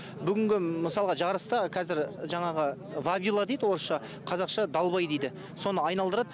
бүгінгі мысалға жарыста қазір жаңағы вавило дейді орысша қазақша далбай дейді соны айналдырады